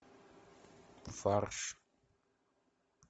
фарш